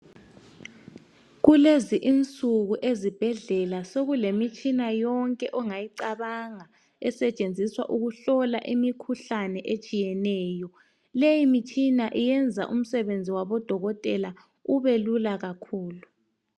Kulezi insuku ezibhedlela sekulemitshina yonke ongayicabanga esetshenziswa ukuhlola imikhuhlane etshiyeneyo. Leyi mitshina iyenza imisebenzi yabodokotela ibe lula kakhulu.